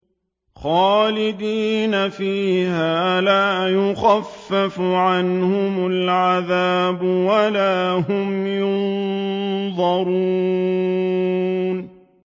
خَالِدِينَ فِيهَا ۖ لَا يُخَفَّفُ عَنْهُمُ الْعَذَابُ وَلَا هُمْ يُنظَرُونَ